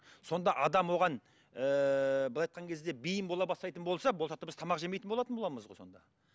сонда адам оған ыыы былай айтқан кезде бейім бола бастайтын болса болашақта біз тамақ жемейтін болатын боламыз ғой сонда